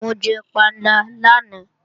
Mo jẹ panla lánàá